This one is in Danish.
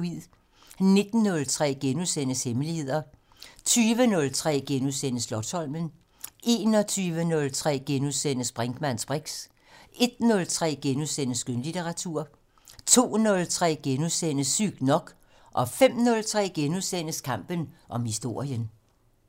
19:03: Hemmeligheder * 20:03: Slotsholmen * 21:03: Brinkmanns briks * 01:03: Skønlitteratur * 02:03: Sygt nok * 05:03: Kampen om historien *